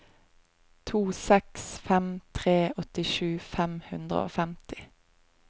to seks fem tre åttisju fem hundre og femti